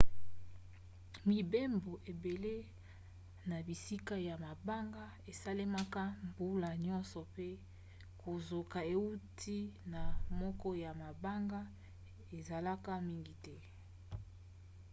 mibembo ebele na bisika ya mabanga esalemaka mbula nyonso pe kozoka euti na moko ya mabanga ezalaka mingi te